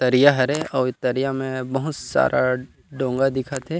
तरिया हरे ए तरिया में बहुत सारा डोंगा दिखत हे।